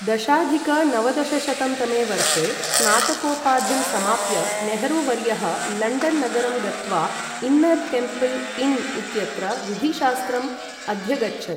दशाधिक नवदशशतं तमे वर्षे स्नातकोपाधिं समाप्य, नेहरू वर्यः लण्डन् नगरं गत्वा इन्नर् टेम्पल् इन् इत्यत्र विधिशास्त्रम् अध्यगच्छत्।